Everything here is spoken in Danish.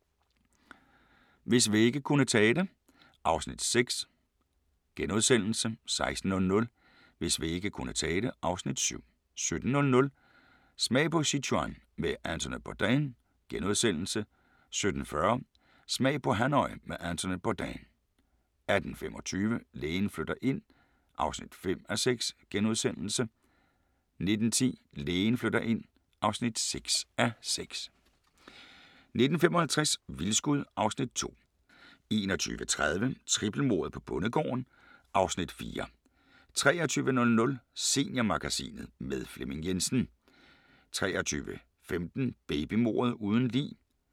15:00: Hvis vægge kunne tale (Afs. 6)* 16:00: Hvis vægge kunne tale (Afs. 7) 17:00: Smag på Sichuan med Anthony Bourdain * 17:40: Smag på Hanoi med Anthony Bourdain 18:25: Lægen flytter ind (5:6)* 19:10: Lægen flytter ind (6:6) 19:55: Vildskud (Afs. 2) 21:30: Trippelmordet på bondegården (Afs. 4) 23:00: Seniormagasinet – med Flemming Jensen 23:15: Babymordet uden lig